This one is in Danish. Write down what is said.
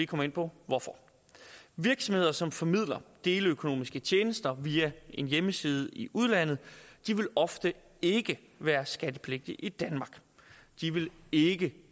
komme ind på hvorfor virksomheder som formidler deleøkonomiske tjenester via en hjemmeside i udlandet vil ofte ikke være skattepligtige i danmark de vil ikke